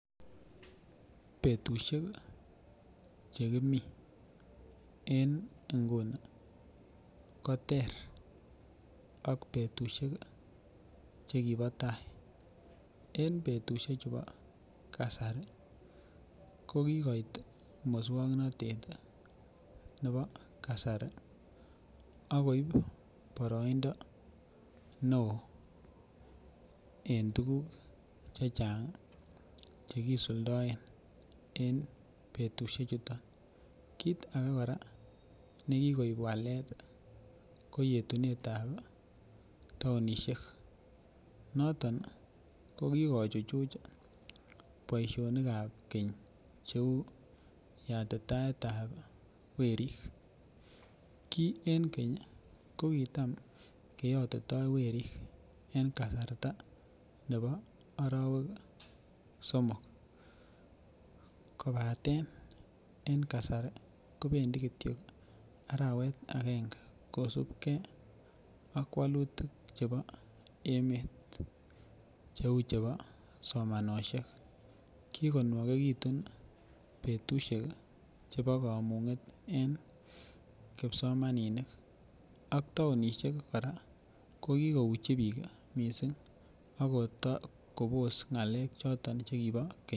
Betusiek Che kimi en nguni ko ter ak betusiek Che kibo tai en betusiek chebo kasari ko kigoit moswoknatet nebo kasari ak koib boroindo neo en tuguk Che Chang Che kisuldaen en betusiechuto kit age kora ne kikoib walet ko etunetab taonisiek noton ko ki kochuchuch boisionik ab keny cheu yatitaetab werik ki en keny ko kitam keyotitoi werik en kasarta nebo arawek somok kobaten en kasari kobendi Kityo arawet agenge kosubge ak walutik chebo emet cheu chebo somanosiek kikonwokegitun betusiek chebo kamunget en kipsomaninik ak taonisiek kora ko ki kouchi bik mising ak kobos ngalek Che kibo keny